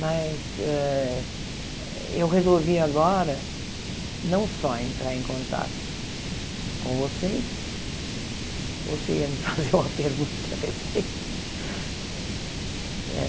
Mas eu resolvi agora não só entrar em contato com vocês... Você ia me fazer uma pergunta a respeito?